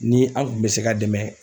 Ni an kun bɛ se ka dɛmɛ